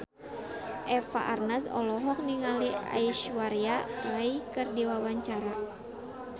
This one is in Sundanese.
Eva Arnaz olohok ningali Aishwarya Rai keur diwawancara